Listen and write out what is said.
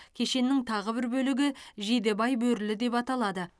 кешеннің тағы бір бөлігі жидебай бөрілі деп аталады